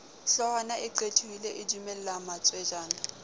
hloohwana e qethohile edumella matswejana